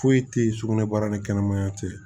Foyi tɛ ye sugunɛbara ni kɛnɛmaya tɛ yen